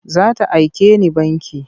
Za ta aike ni banki.